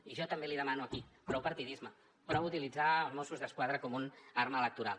i jo també l’hi demano aquí prou partidisme prou utilitzar els mossos d’esquadra com una arma electoral